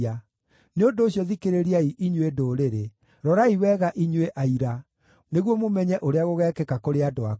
Nĩ ũndũ ũcio, thikĩrĩriai inyuĩ ndũrĩrĩ; rorai wega inyuĩ aira, nĩguo mũmenye ũrĩa gũgekĩka kũrĩ andũ akwa.